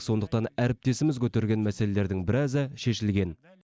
сондықтан әріптесіміз көтерген мәселелердің біразы шешілген